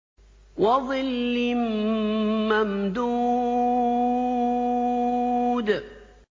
وَظِلٍّ مَّمْدُودٍ